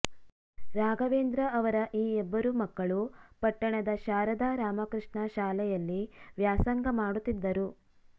ರಾಘವೇಂದ್ರ ಅವರ ಈ ಇಬ್ಬರೂ ಮಕ್ಕಳು ಪಟ್ಟಣದ ಶಾರದಾರಾಮಕೃಷ್ಣ ಶಾಲೆಯಲ್ಲಿವ್ಯಾಸಂಗ ಮಾಡುತ್ತಿದ್ದರು